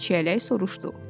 Çiyələk soruşdu.